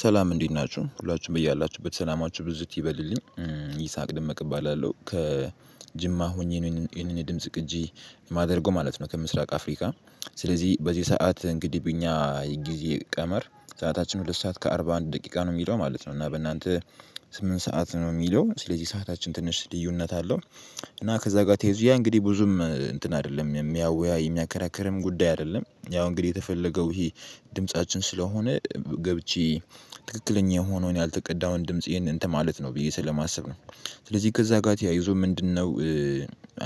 ሠላም እንዴት ናችሁ ሁላችሁም በእያላችሁበት ሠላማችሁ ብዝት ይበልልኝ ይሳቅ ደመቀ እባላለሁ ከጅማ ሆኜ ነው ይህንን ይህንን የድምጽ ቅጂ የማደርገው ማለት ነው። ከምስራቅ አፍሪካ። ስለዚህ በዚህ ሰዓት እንግዲህ በእኛ ጊዜ ቀመር ሰዓታችን ሁለት ሰዓት ከአርባ አንድ ደቂቃ ነው የሚለው ማለት ነው። እና በእናንተ ስምንት ሰዓት ነው የሚለው ስለዚህ ሰዓታችን ትንሽ ልዩነት አለው። እና ከዛ ጋር ተያይዞ እንግዲህ ብዙም እንትን አይደለም የሚያወያይ የሚያከራክርም ጉዳይ አይደለም። ያው እንግዲህ የተፈለገው ይሄ ድምፃችን ስለሆነ ገብቼ ትክክለኛ የሆነውን ያልተቀዳውን ድምጽ ይሄንን እንትን ማለት ነው ብዬ ስለማሰብ ነው። ስለዚህ ከዛ ጋር ተያይዞ ምንድንነው?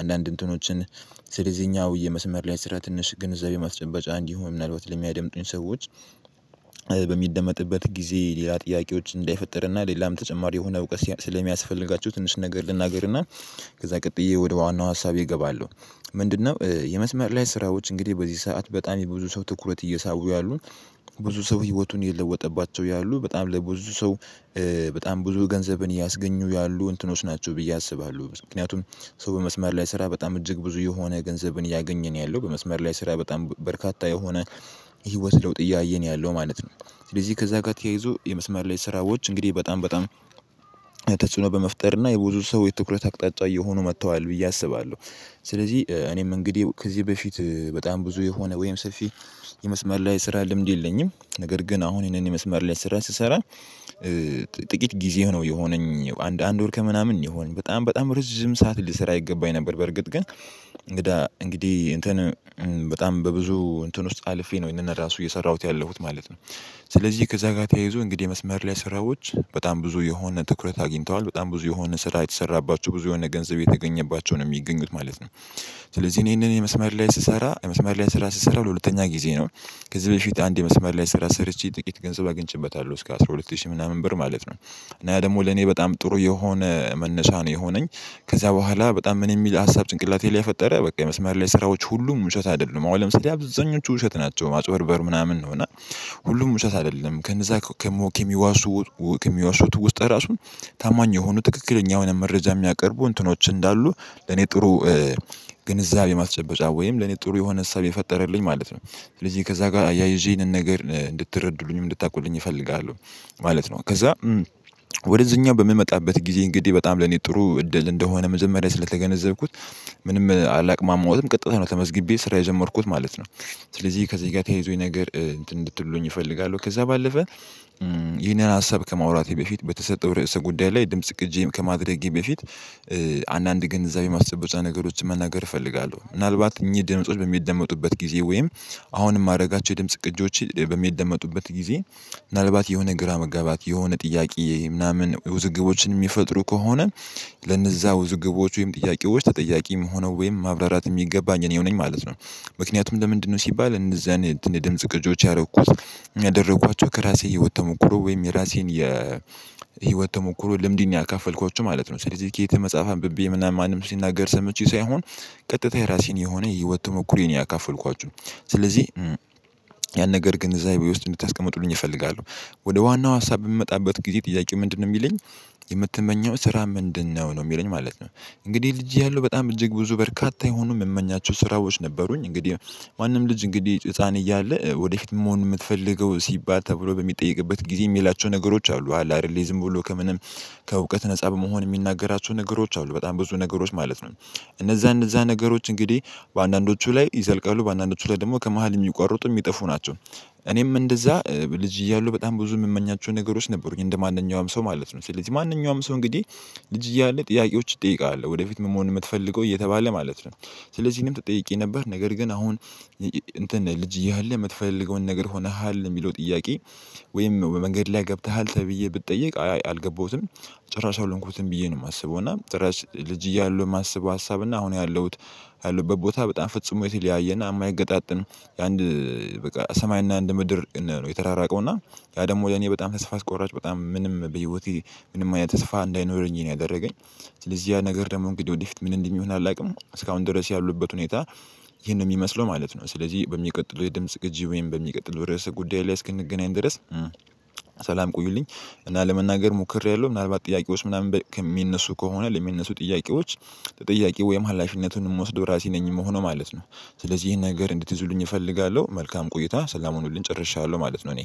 አንዳንድ እንትኖችን ስለዚህኛው የመስመር ላይ ስራ ትንሽ ግንዛቤ መስጨበጫ እንዲሆን ምናልባት ለሚያደምጡኝ ሰዎች በሚደመጥበት ጊዜ ሌላ ጥያቄዎች እንዳይፈጠር እና ሌላም ተጨማሪ የሆነ እውቀት ስለሚያስፈልጋችሁ ትንሽ ነገር ልናገር እና። ከዛ ቀጥዬ ወደ ዋናው ሀሳቤ እገባለሁ። ምንድንነው የመስመር ላይ ስራዎች እንግዲህ በዚህ ሰዓት በጣም የብዙ ሰው ትኩረት እየሳቡ ያሉ። ብዙ ሰው ህይወቱን እየለወጠባቸው ያሉ በጣም ለብዙ ሰው በጣም ብዙ ገንዘብን እያስገኙ ያሉ እንትኖች ናቸው ብዬ አስባለሁ ምክንያቱም። ሰው በመስምር ላይ ስራ በጣም እጅግ ብዙ የሆነ ገንዘብን እያገኘ ነው ያለው በመስመር ላይ ስራ በጣም በርካታ የሆነ የህይወት ለውጥ እያየ ነው ያለው ማለት ነው። ስለዚህ ከዛ ጋር ተያይዞ የመስመር ላይ ስራዎች እንግዲህ በጣም በጣም ተጽዕኖ በመፍጠር እና የብዙ ሰው የትኩረት አቅጣጫ እየሆኑ መጥተዋል ብዬ አስባለሁ። ስለዚህ እኔም እንግዲህ ከዚህ በፊት በጣም ብዙ የሆነ ወይም ሰፊ የመስመር ላይ ስራ ልምድ የለኝም ነገር ግን አሁን ይህንን የመስመር ላይ ስራ ስሰራ። ጥቂት ጊዜ ነው የሆነኝ አንድ አንድ ወር ከምናምን የሆነኝ በጣም በጣም ረጅም ሰዓት ልሰራ ይገባኝ ነበር በርግጥ ግን እንግዳ እንግዲህ እንትን በጣም በብዙ እንትን ውስጥ አልፌ ነው ይሄንን ራሱ እየሰራሁት ያለሁት ማለት ነው። ስለዚህ ከዛ ጋር ተያይዞ እንግዲህ የመስመር ላይ ስራዎች በጣም ብዙ የሆነ ትኩረት አግኝተዋል በጣም ብዙ የሆነ ስራ የተሠራባቸው ብዙ የሆነ ገንዘብ እየተገኘባቸውን የሚገኝት ማለት ነው። ስለዚህ እኔ ይሄንን የመስመር ላይ ስሰራ የመስማር ላይ ስራ ስሰራ ለሁለተኛ ጊዜ ነው። ከዚህ በፊት አንድ የመስመር ላይ ስራ ሰርቼ ጥቂት ገንዘብ አግኝቼበታለሁ እስከ አስራ ሁለት ሺህ ምናምን ብር ማለት ነው። እና ደግሞ ለኔ በጣም ጥሩ የሆነ መነሻ ነው የሆነኝ። ከዛ በኋላ በጣም ምን የሚል ሀሳብ ጭንቅላቴ ላይ ፈጠረ በቃ የመስመር ላይ ስራዎች ሁሉም ውሸት አይደሉም አሁን ለምሳሌ አብዛኞቹ ውሸት ናቸው ማጭበርበር ምናምን ነው ነው እና። ሁሉም ውሸት አይደለም ከነዛ ከሞኬ ከሚዋሹት ውስጥ ራሱን ታማኝ የሆኑ ትክክለኛ የሆነ መረጃ የሚያቀርቡ እንትኖች እንዳሉ ለኔ ጥሩ ግንዛቤ ማስጨበጫ ወይም ለኔ ጥሩ የሆነ እሳቤ ፈጠረልኝ ማለት ነው። ስለዚህ ከዛ ጋር አያይዤ ይህንን ነገር እንድትረዱልኝም እንድታውቁልኝ እፈልጋለሁ። ማለት ነው ከዛ ወደዚህኛው በምመጣበት ጊዜ እንግዲህ በጣም ለኔ ጥሩ እድል እንደሆነ መጀመሪያ ስለተገነዘብኩት ምንም አላቅማማዎትም ቀጥታ ነው ተመዝግቤ ስራ የጀመርኩት ማለት ነው። ስለዚህ ከዚህ ጋር ተያይዞኝ ይህ ነገር እንትን እንድትሉልኝ እፈልጋለሁ ከዛ ባለፈ ይህንን ሀሳብ ከማውራቴ በፊት በተሰጠው ርዕሰ ጉዳይ ላይ ድምጽ ቅጂም ከማድረጌ በፊት አንዳንድ ግንዛቤ ማስጨበጫ ነገሮችን መናገር እፈልጋለሁ። ምናልባት እኚህ ድምጾች በሚደመጡበት ጊዜ ወይም አሁንም የማደርጋቸው የድምጽ ቅጂዎች በሚደመጡበት ጊዜ ምናልባት የሆነ ግራ መጋባት የሆነ ጥያቄ ምናምን ውዝግቦችን የሚፈጥሩ ከሆነ ለነዛ ውዝግቦች ወይም ጥያቄዎች ተጠያቂም የምሆነው ወይም ማብራራት የሚገባኝ እኔው ነኝ ማለት ነው። ምክንያቱም ለምንድንነው? ሲባል እነዛን የድምጽ ቅጆች ያደረኩት ያደረኳቸው ከራሴ የህይወት ተሞክሮ ወይም የራሴን የ ህይወት ተሞክሮ ልምድን ያካፈልኳቸው ማለት ነው። ስለዚህ ከየት መጽሐፍ አንብቤ ምናምን ማንም ሲናገር ሰምቼ ሳይሆን። ቀጥታ የራሴን የሆነ የህይወት ተሞክሮዬን ያካፈልኳችሁ ስለዚህ ያን ነገር ግንዛቤ ውስጥ እንድታስቀምጡኝ እፈልጋለሁ። ወደ ዋናው ሀሳብ በምመጣበት ጊዜ ጥያቄው ምንድንነው የሚለኝ? የምትመኘው ስራ ምንድንነው? ነው የሚለኝ ማለት ነው። እንግዲህ ልጄ እያለሁ በጣም እጅግ ብዙ በርካታ የሆኑ የምመኛቸው ስራዎች ነበሩኝ እንግዲህ ማንም ልጅ እንግዲህ ህፃን እያለ ወደፊት መሆን የምትፈልገው ሲባል ተብሎ በሚጠየቅበት ጊዜ የሚላቸው ነገሮች አሉ አለ አይደለ ዝም ብሎ ከምንም ከእውቀት ነፃ በመሆን የሚናገራቸው ነገሮች አሉ በጣም ብዙ ነገሮች ማለት ነው። እነዛ እነዛ ነገሮች እንግዲህ በአንዳንዶቹ ላይ ይዘልቃሉ በአንዳንዶቹ ላይ ደግሞ ከመሃል የሚቋርጡ የሚጠፉ ናቸው። እኔም እንደዛ ልጅ እያለሁ በጣም ብዙ የምመኛቸው ነገሮች ነበሩኝ እንደማንኛውም ሰው ማለት ነው። ስለዚህ ማንኛውም ሰው እንግዲህ ልጅ እያለ ጥያቄዎች ትጠየቀቃለህ ወደፊት ምን መሆን የምትፈልገው እየተባለ ማለት ነው። ስለዚህ እኔም ተጠይቄ ነበር ነገር ግን አሁን እንትን ልጅ እያለ የምትፈልገውን ነገር ሆነሃል የሚለው ጥያቄ? ወይም በመንገድ ላይ ገብተሃል ተብዬ ብጠየቅ አይ አልገባሁትም። ጭራሽ አልሆንኩትም ብዬ ነው የማስበው እና ጭራሽ ልጅ እያለሁ የማስበው ሀሳብ እና አሁን ያለሁት። ያለሁበት ቦታ በጣም ፍጽሞ የተለያየ እና የማይገጣጠም የአንድ በቃ ሰማይና እንድ ምድር ነው የተራራቀው እና። ያ ደግሞ ለኔ በጣም ተስፋ አስቆራጭ በጣም ምንም በህይወቴ ምንም አይነት ተስፋ እንዳይኖረኝ ነው ያደረገኝ። ለዚህ ያ ነገር ደግሞ እንግዲህ ወዲፊት ምን እንደሚሆን አላውቅም። እስካሁን ድረስ ያለሁበት ሁኔታ ይህንን ነው የሚመስለው ማለት ነው። ስለዚህ በሚቀጥለው የድምጽ ቅጂ ወይም በሚቀጥለው ርዕሰ ጉዳይ ላይ እስክንገናኝ ድረስ ሠላም ቆዩልኝ። እና ለመናገር ሞክሬያለሁ ምናልባት ጥያቄዎች ምናምን በ ከ የሚነሱ ከሆነ ለሚነሱ ጥያቄዎች ተጠያቂ ወይም ኃላፊነቱን የምወስደው ራሴ ነኝ የምሆነው ማለት ነው። ስለዚህ ይሄን ነገር እንድትይዙልኝ እፈልጋለሁ። መልካም ቆይታ ሠላም ሁኑልኝ ጨርሻለሁ ማለት ነው። እኔ